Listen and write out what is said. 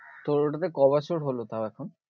তোর ওটাতে ক বছর হলো তাও এখন?